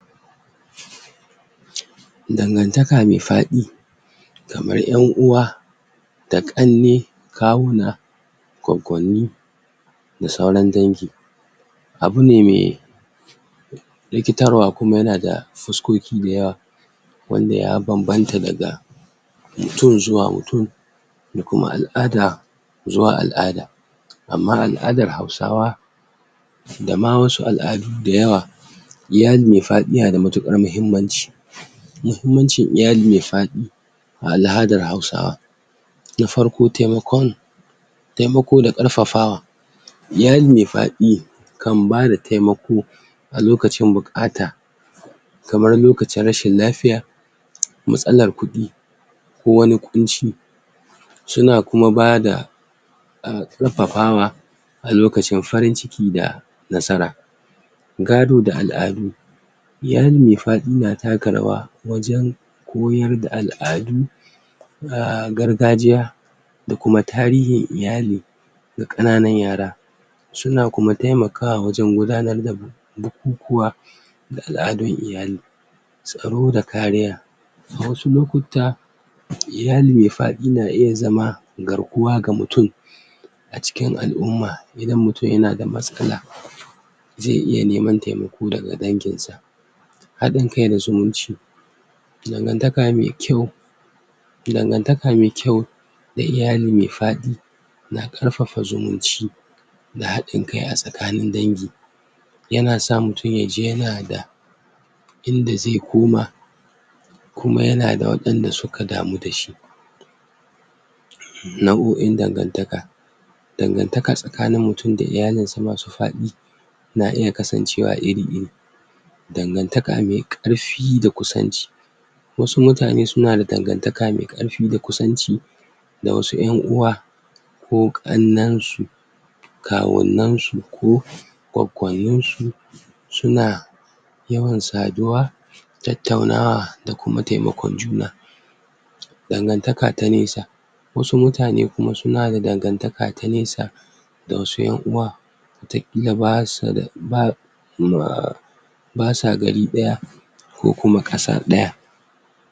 dangataka me faɗi kamar ƴan'uwa da ƙanne kawuna goggonni da sauran dangi abune me rikitarwa kuma yana da fuskoki dayawa wanda ya banbanta daga mutun zuwa mutun da kuma al'ada zuwa al'ada amma al'adar hausawa dama wasu al'adu da yawa iyali me faƙi iya da mukar mahimmanci mahimmancin iyali me fa ɗi a al'adar hausawa na farko temakon temako da karfafawa iyali me faɗi kan bada temako a lokacin bukata kamar lokacin rashin lafiya matsalar kuɗi kowani ƙunci suna kuma bada um karfafawa alokacin farin ciki da nasara gado da al'adu iyali me fa ɗi na taka rawa wajan koyar da al'adu um gargajiya dakuma tarihin iyali da kananan yara suna kuma temakawa wajan gudanar da bukukuwa da al'adu iyali tsaro da kariya a wasu lokuta iyali me fa ɗi na iya zama garkuwa ga mutun a cikin al'umma idan mutun yanada matsala ze iya neman temako daga dangi sa ha ɗin kai da zumunci dangantaka me kyau dangantaka me kyua da iyali me fa ɗi na karfafa zumunci da ha ɗin kai a tsakanin dangi yana sa mutun yaji yanada inda ze inda ze koma kuma yanada waɗanda suka damu dashi nabu'in dangantaka dangantaka tsakanin mutun da iyalisa masu faɗi na iya kasancewa iri iri ngantaka me karfi da kusanci wasu mutane sunada dangantaka me karfi da kusanci da wasu yan'uwa ko kannen su kawunna su ko gwagwayunsu suna yawan saduwa tattauna'a da kuma temakon juna dangantaka ta nesa wasu mutane kuma suna da dangantaka ta nesa da wasu ƴan'uwa wata kila basuda ba um basa gari ɗaya ku kuma kasa ɗaya